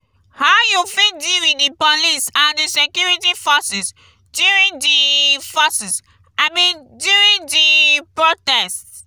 how you fit deal with di police and di security forces during di forces during di protest?